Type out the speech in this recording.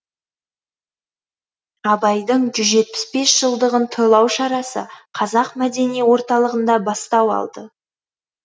абайдың жүз жетпіс бес жылдығын тойлау шарасы қазақ мәдени орталығында бастау алды